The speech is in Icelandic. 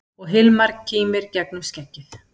Og Hilmar kímir gegnum skeggið.